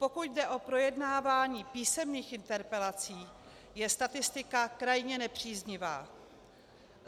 Pokud jde o projednávání písemných interpelací, je statistika krajně nepříznivá.